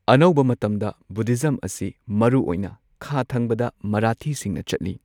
ꯑꯅꯧꯕ ꯃꯇꯝꯗ ꯕꯨꯙꯤꯖꯝ ꯑꯁꯤ ꯃꯔꯨ ꯑꯣꯏꯅ ꯈꯥ ꯊꯪꯕꯗ ꯃꯔꯥꯊꯤꯁꯤꯡꯅ ꯆꯠꯂꯤ꯫